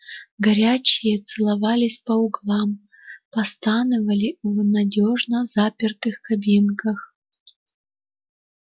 горячие целовались по углам постанывали в ненадёжно запертых кабинках